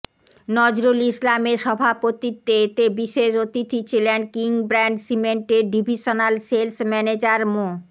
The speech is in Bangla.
নজরুল ইসলামের সভাপতিত্বে এতে বিশেষ অতিথি ছিলেন কিংব্র্যান্ড সিমেন্টের ডিভিশনাল সেলস ম্যানেজার মো